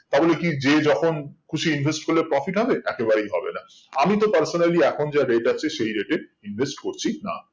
তা বলে কি যে যখন খুশি invest করলে profit হবে একেবারেই হবে না আমি তো personally এখন যা rate আছে সেই rate এ invest করছি না